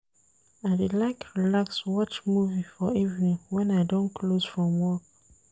I dey like relax watch movie for evening wen I don close from work.